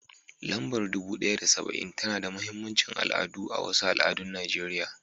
Lambar dubu ɗaya da saba'in tana da mahimmancin al'adu a wasu al'adun Najeriya.